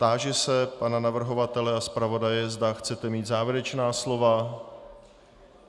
Táži se pana navrhovatele a zpravodaje, zda chtějí mít závěrečná slova.